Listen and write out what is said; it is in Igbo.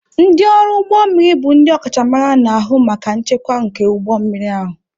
Ndị ọrụ ụgbọ mmiri bụ ndị ọkachamara na-ahụ maka nchekwa nke ụgbọ mmiri ahụ.